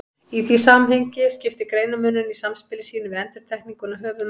Í því samhengi skiptir greinarmunurinn í samspili sínu við endurtekninguna höfuðmáli.